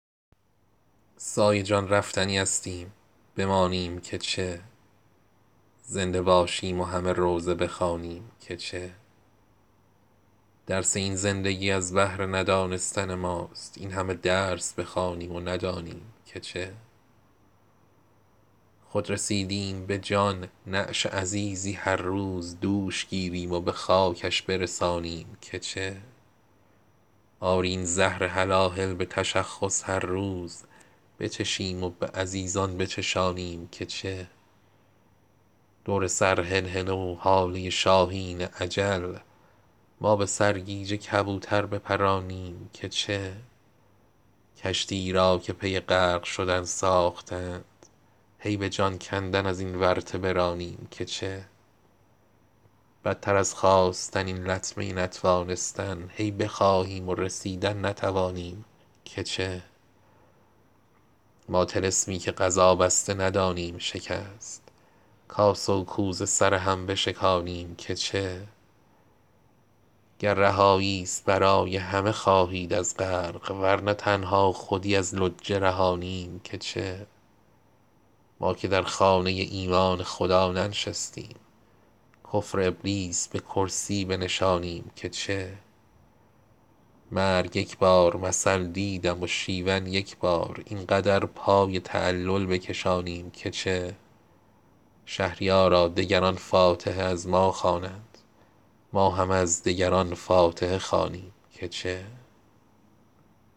سایه جان رفتنی استیم بمانیم که چه زنده باشیم و همه روضه بخوانیم که چه درس این زندگی از بهر ندانستن ماست این همه درس بخوانیم و ندانیم که چه خود رسیدیم به جان نعش عزیزی هر روز دوش گیریم و به خاکش برسانیم که چه آری این زهر هلاهل به تشخص هر روز بچشیم و به عزیزان بچشانیم که چه دور سر هلهله و هاله شاهین اجل ما به سرگیجه کبوتر بپرانیم که چه کشتی ای را که پی غرق شدن ساخته اند هی به جان کندن از این ورطه برانیم که چه قسمت خرس و شغال است خود این باغ مویز بی ثمر غوره چشمی بچلانیم که چه بدتر از خواستن این لطمه نتوانستن هی بخواهیم و رسیدن نتوانیم که چه ما طلسمی که قضا بسته ندانیم شکست کاسه و کوزه سر هم بشکانیم که چه گر رهایی ست برای همه خواهید از غرق ورنه تنها خودی از لجه رهانیم که چه ما که در خانه ایمان خدا ننشستیم کفر ابلیس به کرسی بنشانیم که چه قاتل مرغ و خروسیم یکیمان کمتر این همه جان گرامی بستانیم که چه مرگ یک بار مثل دیدم و شیون یک بار این قدر پای تعلل بکشانیم که چه شهریارا دگران فاتحه از ما خوانند ما همه از دگران فاتحه خوانیم که چه